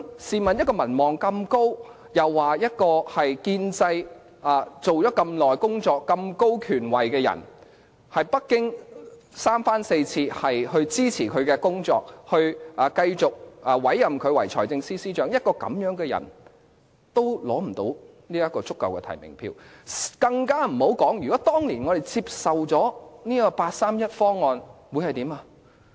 試問一位民望如此高，又為建制派工作多年，擁有如此高權位的人，北京三番四次支持其工作，繼續委任他為財政司司長，這樣的人也無法取得足夠的提名票，更莫說如果我們當年接受八三一方案又會怎樣呢？